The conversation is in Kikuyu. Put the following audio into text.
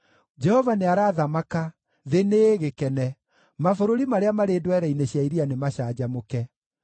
Jehova nĩarathamaka, thĩ nĩĩgĩkene; mabũrũri marĩa marĩ ndwere-inĩ cia iria nĩmacanjamũke.